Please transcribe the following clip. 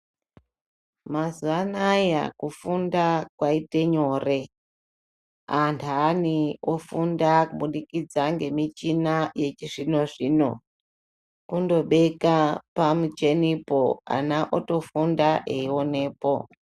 Mazuwa anaya kufunda kwaite nyore. Antani ofunda kubudikidza ngemichina yechizvino-zvino. Kundobeka pamuchenipo, ana otofunda eionepo.